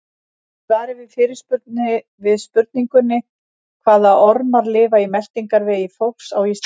Í svari við spurningunni Hvaða ormar lifa í meltingarvegi fólks á Íslandi?